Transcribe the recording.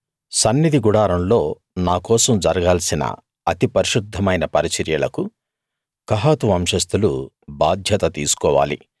సన్నిధి గుడారంలో నా కోసం జరగాల్సిన అతి పరిశుద్ధమైన పరిచర్యలకు కహాతు వంశస్తులు బాధ్యత తీసుకోవాలి